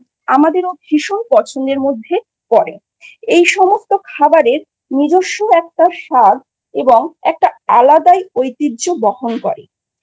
আমাদের ভীষণ পছন্দের মধ্যে পড়ে এই সমস্ত খাবারের নিজস্ব একটা স্বাদ এবং একটা আলাদাই ঐতিহ্য বহন করে।